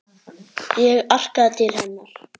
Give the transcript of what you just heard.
Ég arkaði til hennar.